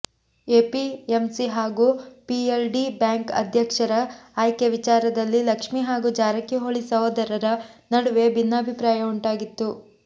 APMC ಹಾಗೂ PLD bank ಅಧ್ಯಕ್ಷರ ಆಯ್ಕೆ ವಿಚಾರದಲ್ಲಿ ಲಕ್ಷ್ಮಿ ಹಾಗೂ ಜಾರಕಿಹೊಳಿ ಸಹೋದರರ ನಡುವೆ ಭಿನ್ನಾಭಿಪ್ರಾಯ ಉಂಟಾಗಿತ್ತು